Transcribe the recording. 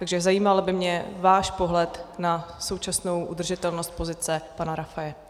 Takže zajímal by mě váš pohled na současnou udržitelnost pozice pana Rafaje.